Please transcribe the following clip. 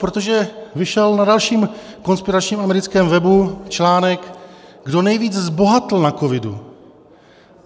Protože vyšel na dalším konspiračním americkém webu článek, kdo nejvíc zbohatl na covidu.